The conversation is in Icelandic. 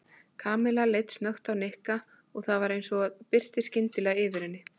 Kamilla leit snöggt á Nikka og það var eins og birti skyndilega yfir henni.